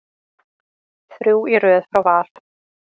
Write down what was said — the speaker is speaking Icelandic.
Þrjú í röð frá Val.